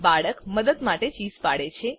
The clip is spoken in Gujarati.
બાળક મદદ માટે ચીસ પાડે છે